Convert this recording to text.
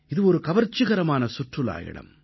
இது ஒரு கவர்ச்சிகரமான சுற்றுலா இடம்